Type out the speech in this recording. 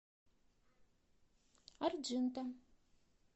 арджинта